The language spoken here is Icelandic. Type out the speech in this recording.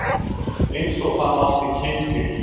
Eins og hann átti kyn til.